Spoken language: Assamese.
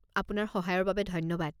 আপোনাৰ সহায়ৰ বাবে ধন্যবাদ।